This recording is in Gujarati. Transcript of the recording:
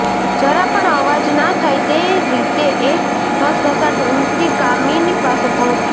જરા પણ અવાજ ના થાય તે રીતે એ ઘસઘસાટ ઊંઘતી કામિની પાસે પહોંચ્યો